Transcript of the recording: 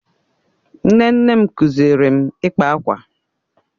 Nne nne m kụziiri m ịkpa akwa.